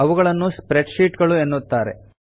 ಅವುಗಳನ್ನು spreadsheet ಗಳು ಎನ್ನುತ್ತಾರೆ